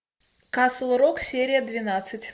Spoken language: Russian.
касл рок серия двенадцать